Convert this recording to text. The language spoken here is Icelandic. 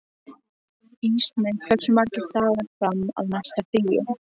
Ísmey, hversu margir dagar fram að næsta fríi?